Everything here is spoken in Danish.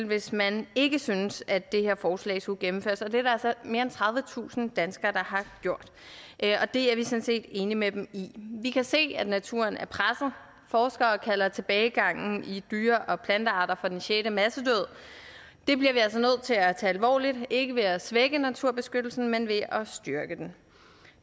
hvis man ikke syntes at det her forslag skulle gennemføres og det er der altså mere end tredivetusind danskere der har gjort og det er vi sådan set enige med dem i vi kan se at naturen er presset forskere kalder tilbagegangen i dyre og plantearter for den sjette massedød det bliver vi altså nødt til at tage alvorligt ikke ved at svække naturbeskyttelsen men ved at styrke den